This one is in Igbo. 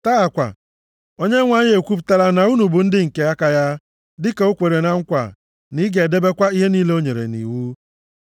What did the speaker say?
Taa kwa, Onyenwe anyị ekwupụtala na unu bụ ndị nke aka ya, dịka o kwere na nkwa, na ị ga-edebekwa ihe niile o nyere nʼiwu.